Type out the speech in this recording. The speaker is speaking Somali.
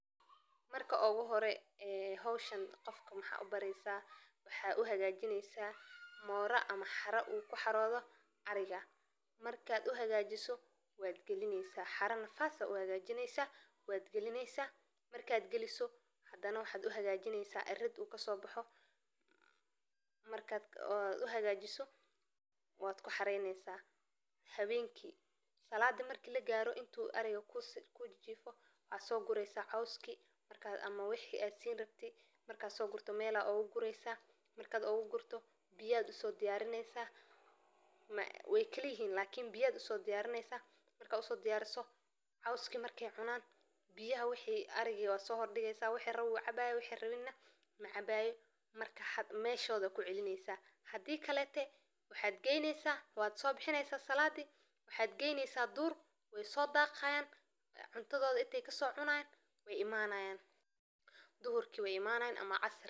Marka la rabo in la dhaqo riyo waa in la ogaadaa in cuntada ay cunaan ay tahay mid balaadhan oo ka kooban cudbi, canno, iyo khudaar si ay u helan tamar iyo fayoobixin ku filan, sida xashishka, beerka, iyo caano marka ay yaryar yihiin, iyo in ay mar walba helaan biyo nadiif ah oo ay ku cabbi karaan, gaar ahaan marka ay kulaylaha sare yihiin, sidoo kale waa muhiim in la siiyo riyaha quud aan ka duwaneyn oo ay ku jiraan macdanta iyo vitamin-yada ay u baahan yihiin.